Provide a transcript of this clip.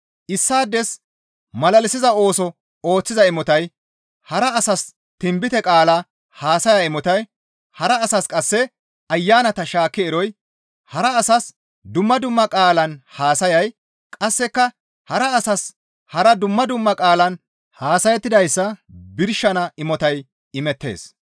Issaades malalisiza ooso ooththiza imotay, hara asas tinbite qaala haasaya imotay, hara asas qasseka ayanata shaakki eroy, hara asas dumma dumma qaalan haasayay, qasseka hara asas hara dumma dumma qaalan haasayettidayssa birshana imotay imettees.